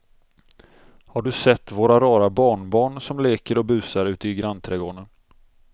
Har du sett våra rara barnbarn som leker och busar ute i grannträdgården!